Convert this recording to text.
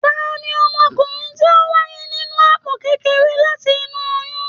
Tani ọmọkùnrin ti o wáyé nínú àpò kékeré láti inú oyún?